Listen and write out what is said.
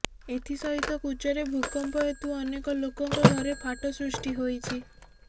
ଏଥି ସହିତ କୁଚରେ ଭୂକମ୍ପ ହେତୁ ଅନେକ ଲୋକଙ୍କ ଘରେ ଫାଟ ସୃଷ୍ଟି ହୋଇଛି